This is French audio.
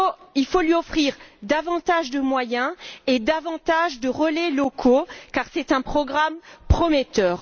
Il faut lui offrir davantage de moyens et davantage de relais locaux car c'est un programme prometteur.